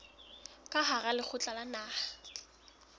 ka hara lekgotla la naha